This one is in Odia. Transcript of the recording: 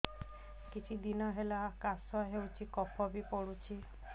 କିଛି ଦିନହେଲା କାଶ ହେଉଛି କଫ ବି ପଡୁଛି